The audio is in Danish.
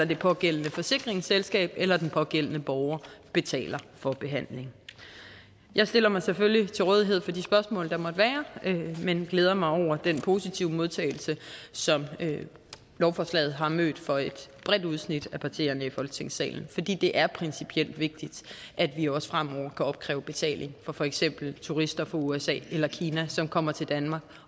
det pågældende forsikringsselskab eller den pågældende borger betaler for behandlingen jeg stiller mig selvfølgelig til rådighed for de spørgsmål der måtte være men glæder mig over den positive modtagelse som lovforslaget har mødt fra et bredt udsnit af partierne i folketingssalen fordi det er principielt vigtigt at vi også fremover kan opkræve betaling fra for eksempel turister fra usa eller kina som kommer til danmark